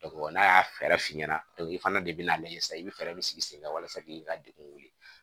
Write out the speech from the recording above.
n'a y'a fɛɛrɛ f'i ɲɛna i fana de bina lajɛ sisan i be fɛɛrɛ de sigi sen kan walasa k'i ka degun wele